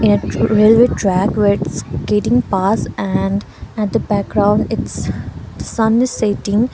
ret railway track where it's getting pass and at the background it's the sun is setting.